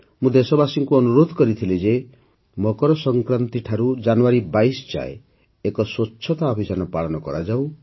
ମୁଁ ଦେଶବାସୀଙ୍କୁ ଅନୁରୋଧ କରିଥିଲି ଯେ ମକର ସଂକ୍ରାନ୍ତି ଠାରୁ ଜାନୁଆରୀ ୨୨ ଯାଏଁ ଏକ ସ୍ୱଚ୍ଛତା ଅଭିଯାନ ପାଳନ କରାଯାଉ